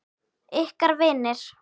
Ykkar vinir.